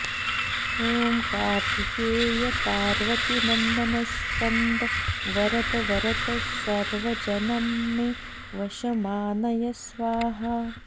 ॐ कार्तिकेय पार्वतीनन्दन स्कन्द वरद वरद सर्वजनं मे वशमानय स्वाहा